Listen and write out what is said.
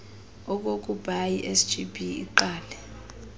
okokubai sgb iqale